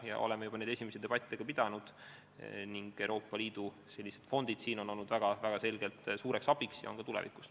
Me oleme juba neid esimesi debatte pidanud ning Euroopa Liidu fondid on olnud väga selgelt suureks abiks ja on ka tulevikus.